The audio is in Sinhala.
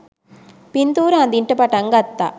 පින්තූර අඳින්ට පටන් ගත්තා.